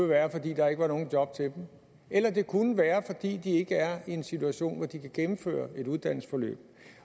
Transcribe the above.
være fordi der ikke var nogen job til dem eller det kunne være fordi de ikke er i en situation hvor de kan gennemføre et uddannelsesforløb